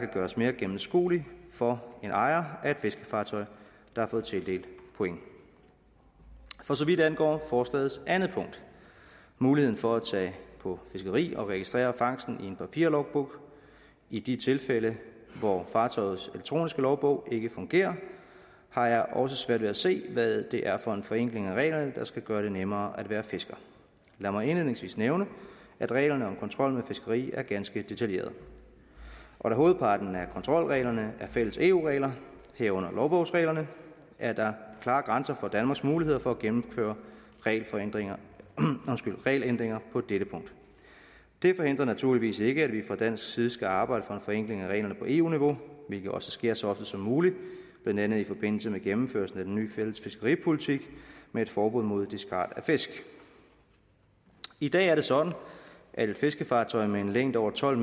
gøres mere gennemskueligt for en ejer af et fiskefartøj der har fået tildelt point for så vidt angår forslagets andet punkt muligheden for at tage på fiskeri og registrere fangsten i en papirlogbog i de tilfælde hvor fartøjets elektroniske logbog ikke fungerer har jeg også svært ved at se hvad det er for en forenkling af reglerne der skal gøre det nemmere at være fisker lad mig indledningsvis nævne at reglerne om kontrol med fiskeri er ganske detaljerede og da hovedparten af kontrolreglerne er fælles eu regler herunder logbogsreglerne er der klare grænser for danmarks muligheder for at gennemføre regelændringer regelændringer på dette punkt det forhindrer naturligvis ikke at vi fra dansk side skal arbejde for en forenkling af reglerne på eu niveau hvilket også sker så ofte som muligt blandt andet i forbindelse med gennemførelsen af den ny fælles fiskeripolitik med et forbud mod discard af fisk i dag er det sådan at et fiskefartøj med en længde over tolv